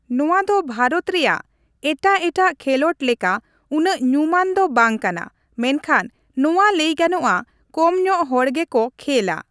ᱱᱚᱣᱟ ᱫᱚ ᱵᱷᱟᱨᱚᱛ ᱨᱮᱭᱟᱜ ᱮᱴᱟᱜ ᱮᱴᱟᱜ ᱠᱷᱮᱞᱚᱸᱰ ᱞᱮᱠᱟ ᱩᱱᱟᱹᱜ ᱧᱩᱢᱟᱱ ᱫᱚ ᱵᱟᱝ ᱠᱟᱱᱟ ᱢᱮᱱᱠᱷᱟᱱ ᱱᱚᱣᱟ ᱞᱟᱹᱭ ᱜᱟᱱᱚᱜᱼᱟ ᱠᱚᱢ ᱧᱚᱜ ᱦᱚᱲᱜᱮ ᱠᱚ ᱠᱷᱮᱞᱟ ᱾